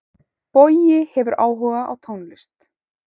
Bogi hefur áhuga á tónlist.